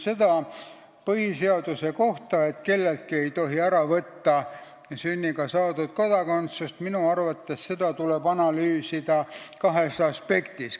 Seda põhiseaduse kohta, et kelleltki ei tohi ära võtta sünniga saadud kodakondsust, tuleb minu arvates analüüsida kahest aspektist.